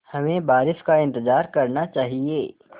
हमें बारिश का इंतज़ार करना चाहिए